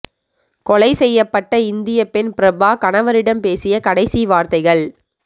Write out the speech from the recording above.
கொலை செய்யப்பட்ட இந்தியப் பெண் பிரபா கணவரிடம் பேசிய கடைசி வார்த்தைகள்